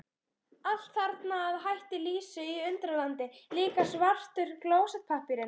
Allt þarna að hætti Lísu í Undralandi, líka svartur klósettpappírinn.